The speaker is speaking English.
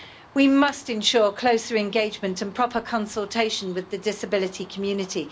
We must ensure closer engagement and proper consultation with the disability community.